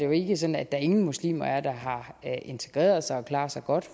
jo ikke sådan at der ingen muslimer er der har integreret sig og klarer sig godt